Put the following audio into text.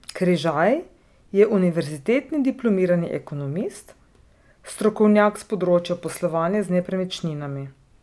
Križaj je univerzitetni diplomirani ekonomist, strokovnjak s področja poslovanja z nepremičninami.